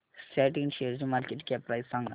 सॅट इंड शेअरची market cap price सांगा